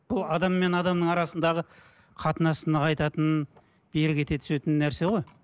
бұл адам мен адамның арасындағы қатынасын нығайтатын берік ете түсетін нәрсе ғой